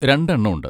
രണ്ടെണ്ണം ഉണ്ട്.